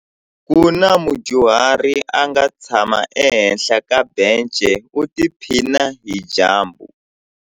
Ku na mudyuhari a nga tshama ehenhla ka bence u tiphina hi dyambu.